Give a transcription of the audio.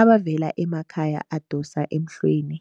abavela emakhaya adosa emhlweni.